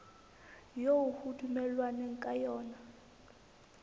eo ho dumellanweng ka yona